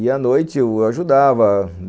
E, à noite, eu ajudava.